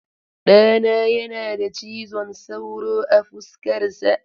Ɗana yana da cizon sauro a fuskarsa.